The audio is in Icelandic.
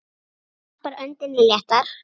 Agnes varpar öndinni léttar.